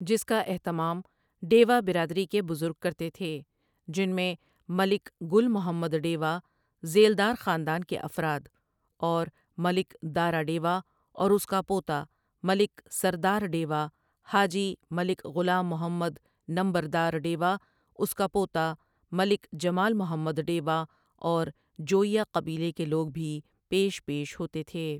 جس کا اہتمام ڈیوا برادری کے بزرگ کرتے تھے جنمیں ملک گل محمد ڈیوا ذیلدار خاندان کے افراداور ملک دارا ڈیوا اور اس کا پوتا ملک سردار ڈیوا حاجی ملک غلام محمد نمبر دار ڈیوا اس کا پوتا ملک جمال محمد ڈیوااور جوٸیہ قبیلہ کے لوگ بھی پیش پیش ہوتے تھے ۔